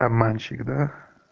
обманщик да